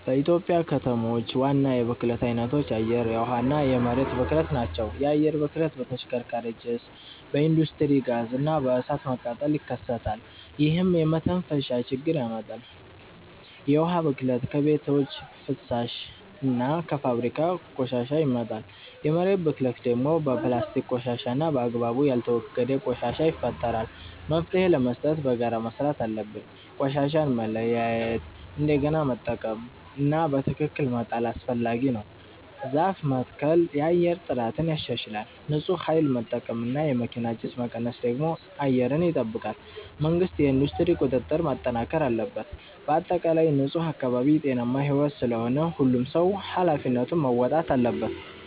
በኢትዮጵያ ከተሞች ዋና የብክለት አይነቶች የአየር፣ የውሃ እና የመሬት ብክለት ናቸው። የአየር ብክለት በተሽከርካሪ ጭስ፣ በኢንዱስትሪ ጋዝ እና በእሳት መቃጠል ይከሰታል፣ ይህም የመተንፈሻ ችግር ያመጣል። የውሃ ብክለት ከቤቶች ፍሳሽ እና ከፋብሪካ ቆሻሻ ይመጣል። የመሬት ብክለት ደግሞ በፕላስቲክ ቆሻሻ እና በአግባቡ ያልተወገደ ቆሻሻ ይፈጠራል። መፍትሄ ለመስጠት በጋራ መስራት አለብን። ቆሻሻን መለያየት፣ እንደገና መጠቀም (recycle) እና በትክክል መጣል አስፈላጊ ነው። ዛፍ መትከል የአየር ጥራትን ያሻሽላል። ንፁህ ኃይል መጠቀም እና የመኪና ጭስ መቀነስ ደግሞ አየርን ይጠብቃል። መንግሥት የኢንዱስትሪ ቁጥጥር ማጠናከር አለበት። በአጠቃላይ ንፁህ አካባቢ ጤናማ ሕይወት ስለሆነ ሁሉም ሰው ኃላፊነቱን መወጣት አለበት።